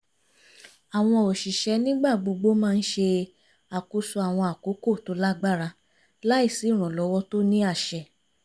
àwọn òṣìṣẹ́ nígbà gbogbo máa ń ṣe àkóso àwọn àkókò tó lágbára láì sí ìrànlọ́wọ́ tó ní àṣẹ